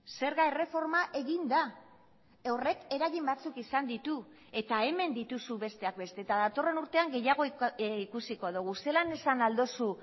zerga erreforma egin da horrek eragin batzuk izan ditu eta hemen dituzu besteak beste eta datorren urtean gehiago ikusiko dugu zelan esan ahal duzu